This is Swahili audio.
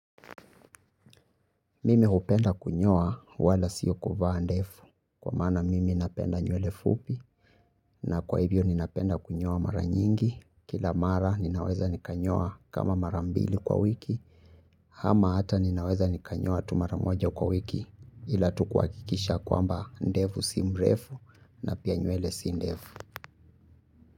Mimi hupenda kunyoa wala sio kuvaa ndevu kwa maana mimi napenda nywele fupi na kwa hivyo ninapenda kunyoa mara nyingi kila mara ninaweza nikanyoa kama mara mbili kwa wiki ama hata ninaweza nikanyoa tu mara moja kwa wiki ila tu kuhakikisha kwamba ndevu si mrefu na pia nywele si ndefu.